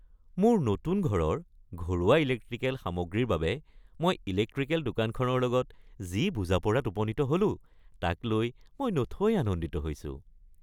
মোৰ নতুন ঘৰৰ ঘৰুৱা ইলেক্ট্ৰিকেল সামগ্ৰীৰৰ বাবে মই ইলেক্ট্ৰিকেল দোকানখনৰ লগত যি বুজা-পৰাত উপনীত হ'লো তাক লৈ মই নথৈ আনন্দিত হৈছোঁ।